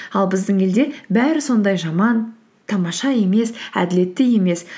ал біздің елде бәрі сондай жаман тамаша емес әділетті емес